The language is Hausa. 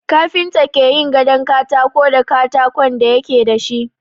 Kafinta ke yin gadon katako da katakon da yake da shi.